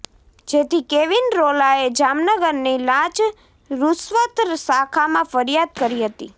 જેથી કેવિન રોલાએ જામનગરની લાંચ રૂશ્વત શાખામાં ફરિયાદ કરી હતી